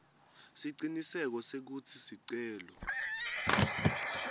siciniseko sekutsi sicelo